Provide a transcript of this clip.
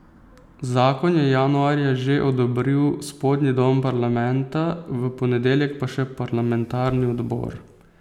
Zakon je januarja že odobril spodnji dom parlamenta, v ponedeljek pa še parlamentarni odbor.